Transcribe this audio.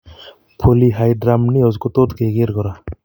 Polyhydramnnios kotot kekerr kora